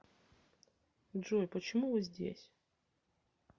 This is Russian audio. джой почему вы здесь